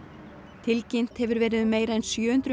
tilkynnt hefur verið um meira en sjö hundruð